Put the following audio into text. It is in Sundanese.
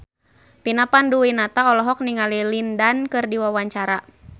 Vina Panduwinata olohok ningali Lin Dan keur diwawancara